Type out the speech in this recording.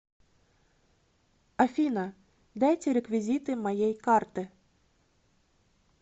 афина дайте реквизиты моей карты